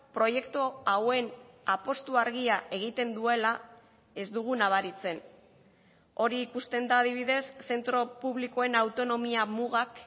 proiektu hauen apustu argia egiten duela ez dugu nabaritzen hori ikusten da adibidez zentro publikoen autonomia mugak